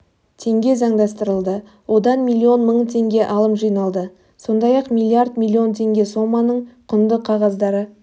теңге заңдастырылды одан миллион мың теңге алым жиналды сондай-ақ миллиард миллион теңге соманың құнды қағаздары